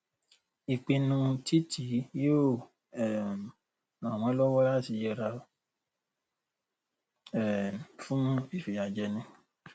ìpinnu títi yóò um ràn wọ́n lọ́wọ́ láti yẹra um fún ìfiyàjẹni.